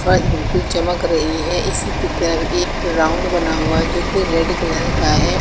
वह बिल्कुल चमक रही है इसकी तरफ एक राउंड बना हुआ है जो कि रेड कलर का है।